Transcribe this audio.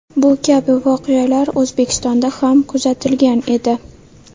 Bu kabi voqealar O‘zbekistonda ham kuzatilgan edi .